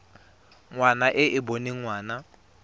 ngwana e e boneng ngwana